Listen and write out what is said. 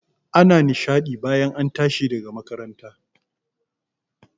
Ana nishaɗi bayan an tashi daga makaranta